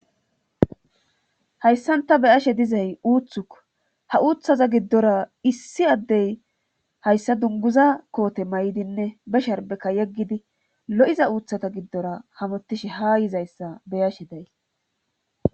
hayssan ta be7ashe dizay uuthuko ha uuththaza giddora issi addey hayssa dunguza koote may7dinne be sharbekka yeggidi lo7iza uuthata giddora hamutishe ha yizayssa beyashe day